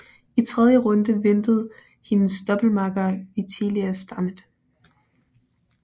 I tredje runde ventede hendes doublemakker Vitalia Stamat